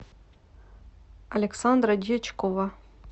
александра дьячкова